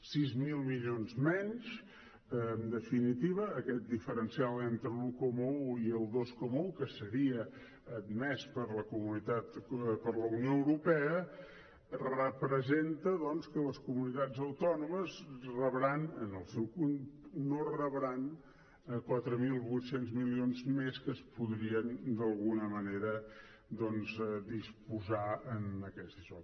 sis mil milions menys en definitiva aquest diferencial entre l’un coma un i el dos coma un que seria admès per la unió europea representa doncs que les comunitats autònomes no rebran quatre mil vuit cents milions més de què es podria d’alguna manera disposar en aquest daixò